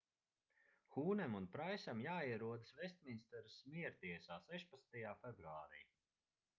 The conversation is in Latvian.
hūnem un praisam jāierodas vestminsteras miertiesā 16. februārī